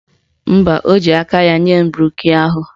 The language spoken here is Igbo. Mba, o ji aka ya nye m broshu ahụ.